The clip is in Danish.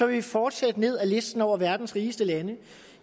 vi fortsætte ned ad listen over verdens rigeste lande